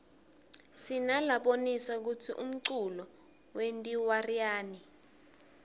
sinalabonisa kutsi umculo wentiwaryani